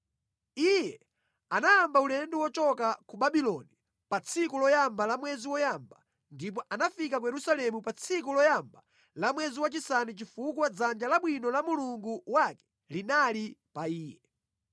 Iye anayamba ulendo wochoka ku Babuloni pa tsiku loyamba la mwezi woyamba, ndipo anafika ku Yerusalemu pa tsiku loyamba la mwezi wachisanu chifukwa dzanja labwino la Mulungu wake linali pa iye.